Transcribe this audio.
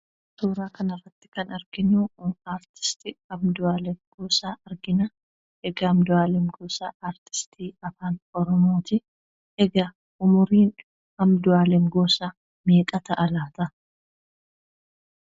Suuraa kana, irratti kan, arginu artiisitti Andu'aaleem Goosaa argina. egaa Andu'aaleem Goosaa artiistii afaan Oromooti. egaa umuriin Andu'aaleem Goosaa meeqa ta'a laata?